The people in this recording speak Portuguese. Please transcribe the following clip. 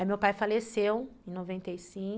Aí meu pai faleceu, em noventa e cinco